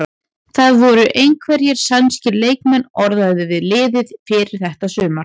Það voru einhverjir sænskir leikmenn orðaðir við liðið fyrir þetta sumar?